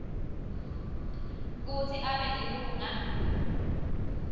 kutsi abe lilunga